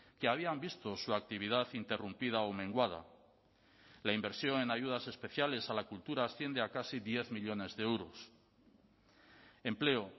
que habían visto su actividad interrumpida o menguada la inversión en ayudas especiales a la cultura asciende a casi diez millónes de euros empleo